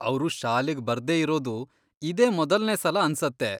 ಅವ್ರು ಶಾಲೆಗ್ ಬರ್ದೇ ಇರೋದು ಇದೇ ಮೊದಲ್ನೇ ಸಲ ಅನ್ಸತ್ತೆ.